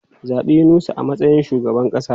Zabi Yunusa a matsayin shugaban kasa!